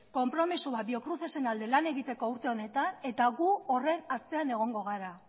konpromezu bat biocrucesen alde lan egiteko urte honetan eta gu horren atzean egongo gara